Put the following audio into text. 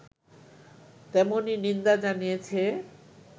তেমনই নিন্দা জানিয়েছে